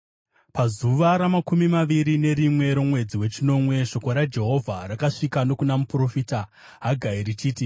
Pazuva ramakumi maviri nerimwe romwedzi wechinomwe, shoko raJehovha rakasvika nokuna muprofita Hagai richiti,